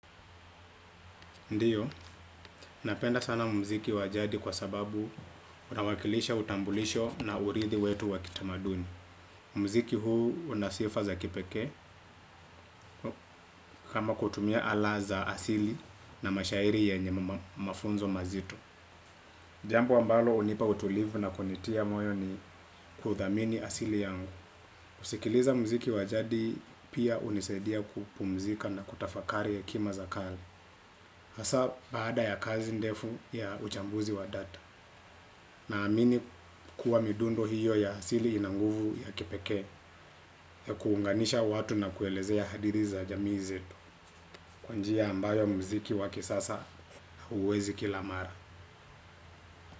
Ndiyo, napenda sana mziki wajadi kwa sababu unawakilisha utambulisho na uridhi wetu wa kitamaduni. Mziki huu una sifa za kipekee kama kutumia ala za asili na mashairi yenye mafunzo mazito. Jambo ambalo hunipa utulivu na kunitia moyo ni kuthamini asili yangu. Kusikiliza mziki wajadi pia hunisidia kupumzika na kutafakari ya hekima za kali. Hasa baada ya kazi ndefu ya uchambuzi wa data. Na amini kuwa midundo hiyo ya asili ina nguvu ya kipekee ya kuunganisha watu na kuelezea hadiri za jamii zeto. Kwa njia ambayo muziki wa kisasa huwezi kilamara.